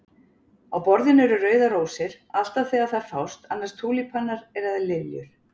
Á borðinu eru rauðar rósir, alltaf þegar þær fást, annars túlípanar eða liljur.